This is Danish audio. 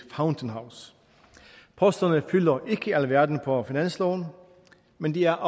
fountain house posterne fylder ikke alverden på finansloven men de er